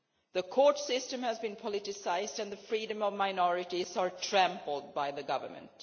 The court system has been politicised and the freedom of minorities is being trampled on by the Government.